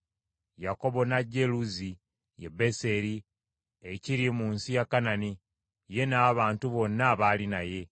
Yakobo n’ajja e Luzi, ye Beseri, ekiri mu nsi ya Kanani, ye n’abantu bonna abaali naye.